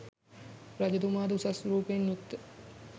රජතුමාද උසස් රූපයෙන් යුක්ත,